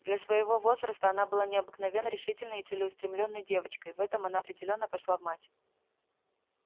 для своего возраста она была необыкновенно решительной и целеустремлённой девочкой в этом она определённо пошла в мать